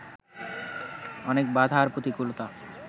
অনেক বাধা আর প্রতিকূলতা